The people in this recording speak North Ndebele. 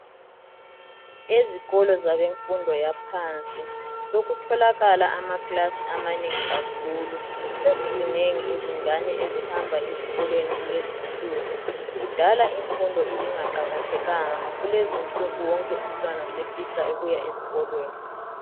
Ezikolo zabe mfundo yaphansi sokutholakala amaclass amanengi kakhulu. Sezizinengi izingane ezihamba esikolweni kulezinsuku .Kudala imfundo ibingaqakathekanga kulezinsuku wonke umtwana sefisa ukuya eskolweni .